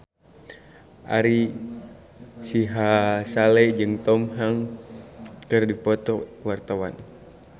Ari Sihasale jeung Tom Hanks keur dipoto ku wartawan